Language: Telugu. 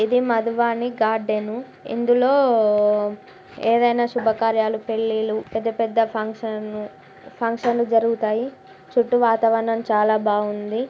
ఇది మధువాని గార్డెన్ ఇందులో ఏవైనా శుభకార్యలు పెళ్లిళ్లు పెద్ద పెద్ద ఫంక్షన్ ఫంక్షన్ లు జరుగుతాయి చుట్టూ వాతావరణం చాలా బాగుంది.